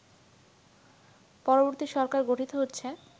পরবর্তী সরকার গঠিত হচ্ছে